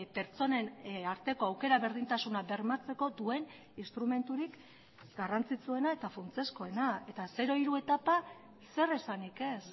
pertsonen arteko aukera berdintasuna bermatzeko duen instrumenturik garrantzitsuena eta funtsezkoena eta zero hiru etapa zer esanik ez